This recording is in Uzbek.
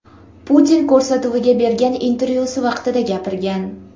Putin” ko‘rsatuviga bergan intervyusi vaqtida gapirgan .